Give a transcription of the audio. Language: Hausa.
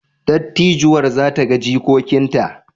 Dattijuwar za ta ga jikokinta?